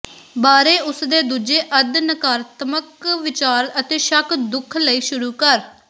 ਬਾਰੇ ਉਸ ਦੇ ਦੂਜੇ ਅੱਧ ਨਕਾਰਾਤਮਕ ਵਿਚਾਰ ਅਤੇ ਸ਼ੱਕ ਦੁਖ ਲਈ ਸ਼ੁਰੂ ਕਰ